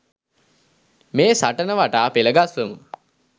මේ සටන වටා පෙළ ගස්වමු